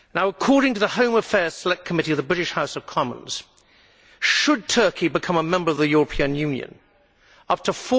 According to the Home Affairs Select Committee of the British House of Commons, should Turkey become a member of the European Union, up to